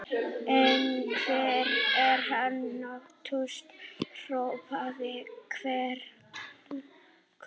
En hvar er hann, nánast hrópaði Herra Kláus.